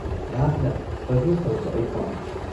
-ꯅꯍꯥꯛꯅ ꯐꯖꯅ ꯇꯧꯕ ꯑꯩ ꯄꯥꯝꯃꯤ꯫